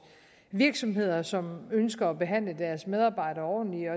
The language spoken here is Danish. virksomheder som ønsker at behandle deres medarbejdere ordentligt